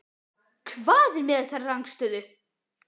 Hvað er með þessa rangstöðu?